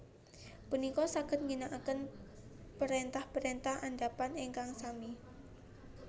punika saged ngginakaken parentah parentah andhapan ingkang sami